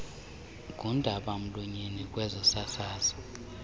ngundaba mlonyeni kwezosasazo